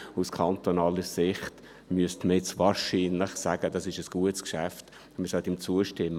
Aus kantonaler Sicht müsste man wahrscheinlich sagen, es sei ein gutes Geschäft und man müsse ihm zustimmen.